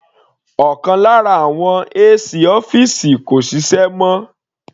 Ọ̀kan lára àwọn AC ọ́fìsì kò ṣiṣẹ́ mọ́.